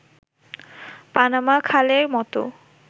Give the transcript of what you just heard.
Panama খালের মতো